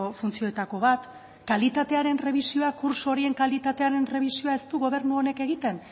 funtzioetako bat kalitatearen errebisioa kurtso horien kalitatearen errebisioa ez du gobernu honek egiten